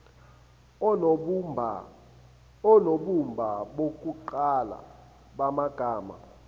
onobumba bokuqala bamagama